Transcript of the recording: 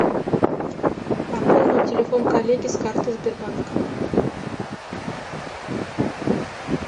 пополнить телефон коллеги с карты сбербанка